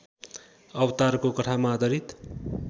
अवतारको कथामा आधारित